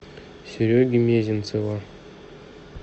сереги мезенцева